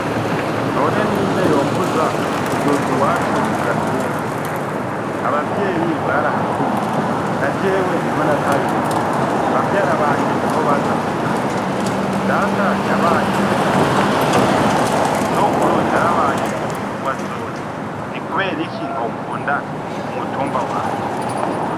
None ni nde yombuja kuduga i wacu kugatumba abavyeyi bariahakuriye na jewe ni ho nataye urujogi bavyara banje ni ho baja kundamutsa data yabaye umukuru w'umutumba sokuru yarabaye umukuru wa joni ni, kubera iki ntokunda umutumba wanje.